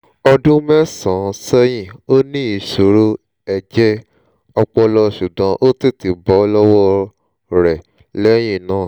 ọdún mẹ́sàn-án sẹ́yìn ó ní ìṣòro ẹ̀jẹ̀ ọpọlọ ṣùgbọ́n ó tètè bọ́ lọ́wọ́ ẹ̀ lẹ́yìn náà